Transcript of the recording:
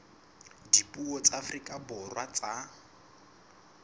dipuo tsa afrika borwa tsa